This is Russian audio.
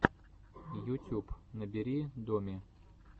ютюб набери доми